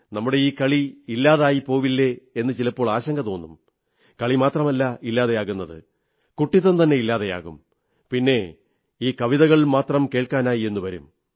നമ്മുടെ ഈ കളി ഇല്ലാതെയായിപ്പോവില്ലേ എന്നു ചിലപ്പോൾ ആശങ്ക തോന്നും കളിമാത്രമല്ല ഇല്ലാതെയാകുന്നത് കുട്ടിത്തം തന്നെ ഇല്ലാതെയാകും പിന്നെ ഈ കവിതകൾ മാത്രം കേൾക്കാനായെന്നു വരും